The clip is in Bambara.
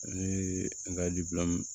Ani an ka